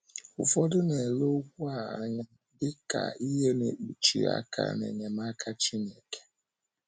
Ụfọdụ na - ele okwu a anya dị ka ihe na - ekpụchi aka n’enyemaka Chineke.